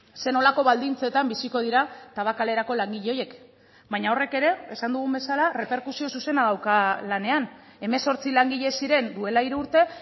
zer nolako baldintzetan biziko dira tabakalerako langile horiek baina horrek ere esan dugun bezala erreperkusio zuzena dauka lanean hemezortzi langile ziren duela hiru urte